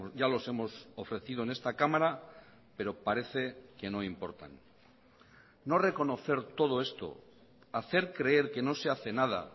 ya los hemos ofrecido en esta cámara pero parece que no importan no reconocer todo esto hacer creer que no se hace nada